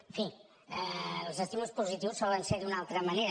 en fi els estímuls positius solen ser d’una altra manera